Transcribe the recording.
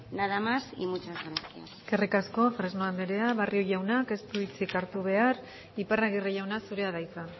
nada más y muchas gracias eskerrik asko fresno andrea barrio jaunak ez du hitzik hartu behar iparragirre jauna zurea da hitza